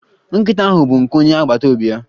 Nkịta ahụ bụ nke onye agbata obi ya.